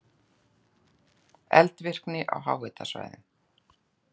Eldvirkni á háhitasvæðum